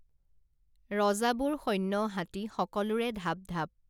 ৰজাবোৰ সৈন্য হাতী সকলোৰে ধাপ ধাপ